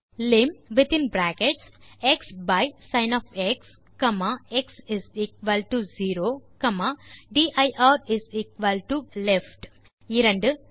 Lim ofxசின் எக்ஸ்0 dirலெஃப்ட் 2